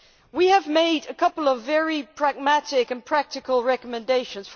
We have made a couple of very pragmatic and practical recommendations.